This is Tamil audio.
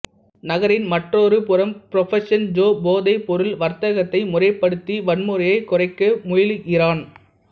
நகரின் மற்றொரு புறம் புரபோசிஷன் ஜோ போதைப் பொருள் வர்த்தகத்தை முறைப்படுத்தி வன்முறையைக் குறைக்க முயலுகிறான்